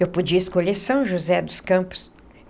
Eu podia escolher São José dos Campos.